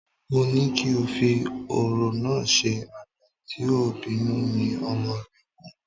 Mó ní kí o fi ọ̀rọ̀ náà ṣe, "àgbà tí ò bínú ni ọmọ rẹ pọ̀"